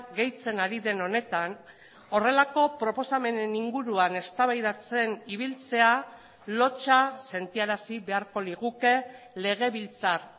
gehitzen ari den honetan horrelako proposamenen inguruan eztabaidatzen ibiltzea lotsa sentiarazi beharko liguke legebiltzar